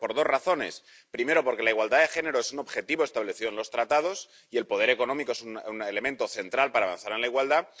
Por dos razones primera, porque la igualdad de género es un objetivo establecido en los Tratados y el poder económico es un elemento central para avanzar en la igualdad.